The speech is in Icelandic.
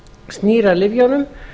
snýr að lyfjunum